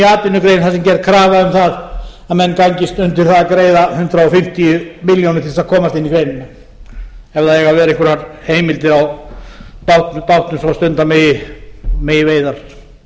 atvinnugrein þar sem gerð er krafa um það að menn gangist undir það að greiða hundrað fimmtíu milljónir til að komast inn í greinina ef það eiga að vera einhverjar heimildir á bátum svo stunda megi veiðar